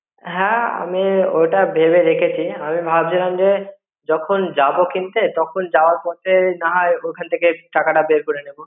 হ্যাঁ আমি অটা ভেবে রেখে চি. আমি ভাবছিলাম যে যখন যাব কিনতে তখন যাওয়ার পথে নাহয় ওখান ঠিকে টাকা টা বের করে নেব